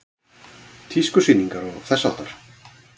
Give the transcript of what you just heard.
Tískusýningar og þess háttar?